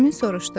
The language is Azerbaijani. Nərmin soruşdu.